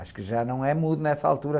Acho que já não é mudo nessa altura.